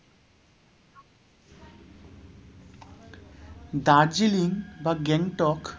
দার্জিলিং বা গ্যাংটক